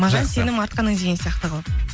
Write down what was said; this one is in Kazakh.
маған сенім артқаның деген сияқты қылып